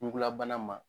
Ɲugulabana ma